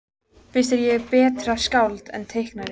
Finnst þér ég betra skáld en teiknari?